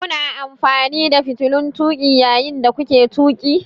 Kuna amfani da fitilun tuƙi yayin da kuke tuƙi?